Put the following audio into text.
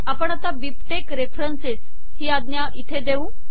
आपण आता BibTeX reference ही आज्ञा इथे देऊ